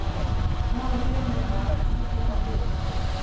Noũrĩhĩre mũrata waku tigiti wa ngari